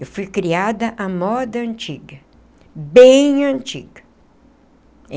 Eu fui criada à moda antiga, bem antiga.